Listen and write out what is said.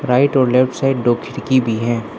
Right और left side दो खिड़की भी है।